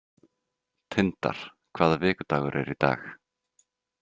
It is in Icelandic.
Tindar, hvaða vikudagur er í dag?